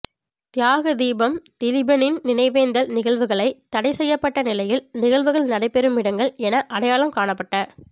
தியாக தீபம் திலீபனின் நினைவேந்தல் நிகழ்வுகளை தடை செய்யப்பட்ட நிலையில் நிகழ்வுகள் நடைபெறும் இடங்கள் என அடையாளம் காணப்பட்ட